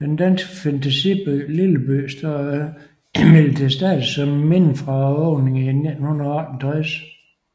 Den danske fantasiby Lilleby står imidlertid stadig som et minde fra åbningen i 1968